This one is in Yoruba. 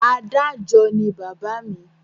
Adájọ́ ni bàbá mi.